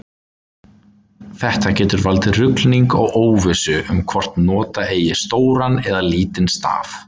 Þetta getur valdið ruglingi og óvissu um hvort nota eigi stóran eða lítinn staf.